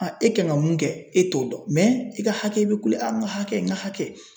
e kan kɛ mun kɛ, e t'o dɔn i ka hakɛ, i be kule n ka hakɛ n ka hakɛ